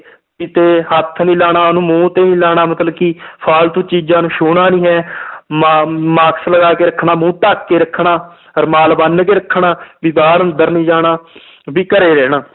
ਕਿਤੇ ਹੱਥ ਨੀ ਲਾਉਣਾ ਉਹਨੂੰ ਮੂੰਹ ਤੇ ਨੀ ਲਾਉਣਾ ਮਤਲਬ ਕਿ ਫਾਲਤੂ ਚੀਜ਼ਾਂ ਨੂੰ ਛੂੰਹਣਾ ਨੀ ਹੈ ਮਾ~ mask ਲਗਾ ਕੇ ਰੱਖਣਾ ਮੂੰਹ ਢੱਕ ਕੇ ਰੱਖਣਾ ਰੁਮਾਲ ਬੰਨ ਕੇ ਰੱਖਣਾ ਵੀ ਬਾਹਰ ਅੰਦਰ ਨੀ ਜਾਣਾ ਵੀ ਘਰੇ ਰਹਿਣਾ